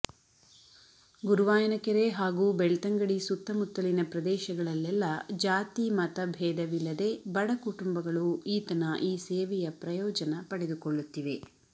ಗುರುವಾಯನಕೆರೆ ಹಾಗೂ ಬೆಳ್ತಂಗಡಿ ಸುತ್ತಮುತ್ತಲಿನ ಪ್ರದೇಶಗಳಲ್ಲೆಲ್ಲ ಜಾತಿ ಮತ ಭೇದವಿಲ್ಲದೆ ಬಡ ಕುಟುಂಬಗಳು ಈತನ ಈ ಸೇವೆಯ ಪ್ರಯೋಜನ ಪಡೆದುಕೊಳ್ಳುತ್ತಿವೆ